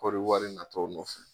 Kɔɔri wari natɔ nɔfɛ.